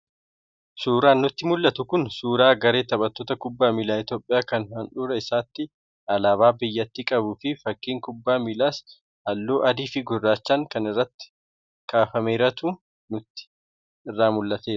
Suuraan nutti mul'atu kun suuraa garee taphattoota kubbaa miilaa Itoophiyaa kan handhuura isaatti alaabaa biyyattii qabuu fi fakiin kubbaa miilaas halluu adii fi gurraachaan kan irratti kaafameerutu nutti irraa mul'ata